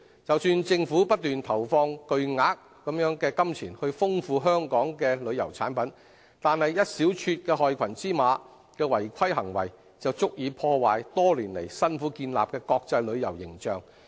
即使政府不斷投放巨額金錢來豐富旅遊產品，但一小撮害群之馬的違規行為，便足以破壞多年來辛苦建立的國際旅遊形象。